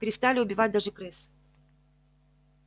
перестали убивать даже крыс